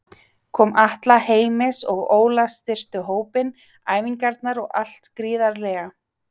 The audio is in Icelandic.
Koma Atla, Heimis og Óla styrktu hópinn, æfingarnar og allt gríðarlega.